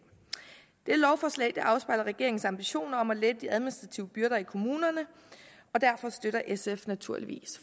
lovforslaget afspejler regeringens ambitioner om at lette de administrative byrder i kommunerne og derfor støtter sf naturligvis